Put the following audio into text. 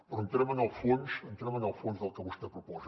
però entrem en el fons entrem en el fons del que vostè proposa